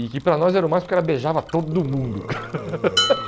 E que para nós era o máximo porque ela beijava todo mundo.